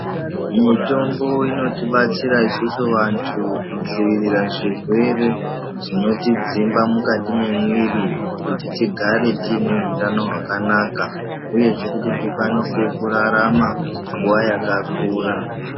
Mitombo inotibatsira isusu vantu kudziwirira zvirwere zvinotidzimba mwukati mwemwiri kuti tigare tine utano hwakanaka uyezve kuti tikwanise kurarama nguwa yakakura.